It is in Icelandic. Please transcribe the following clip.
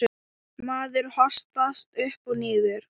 Maður hossast upp og niður.